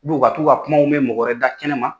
ka t'u ka kumaw mɛ mɔgɔ wɛrɛ da kɛnɛma.